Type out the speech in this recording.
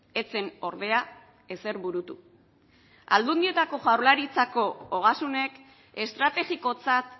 ez zen ordea ezer burutu aldundietako jaurlaritzako ogasunek estrategikotzat